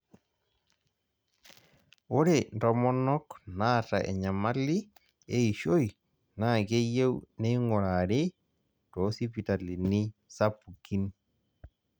ore ntomonok naata enyamali eishoi naa keyieu neing'urari too sipitalini sapukin.